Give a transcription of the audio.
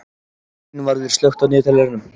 Einvarður, slökktu á niðurteljaranum.